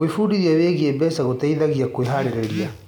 Gwĩbundithia wĩgiĩ mbeca gũteithagia kwĩharĩrĩria.